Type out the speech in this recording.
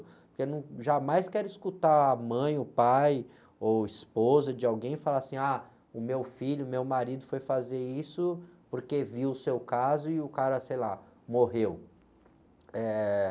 Porque eu num, jamais quero escutar a mãe, o pai ou esposa de alguém falar assim, ah, o meu filho, o meu marido foi fazer isso porque viu o seu caso e o cara, sei lá, morreu. Eh...